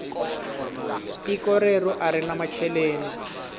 tiko reru arina macheleni